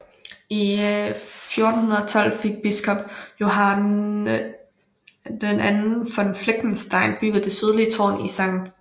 I 1412 fik biskop Johann II von Fleckenstein bygget det sydlige tårn i St